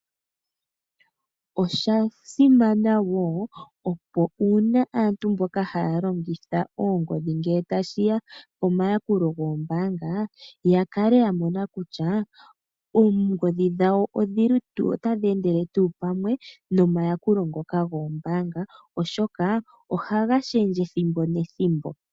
Osha simana wo opo uuna aantu mboka haya longitha oongodhi ngele tashi ya pomayakulo goombaanga , ya kale ya mona kutya oongodhi dhawo otadhi endele pamwe nomayakulo gombaanga oshoka ohaga shendje ethimbo nethimbo.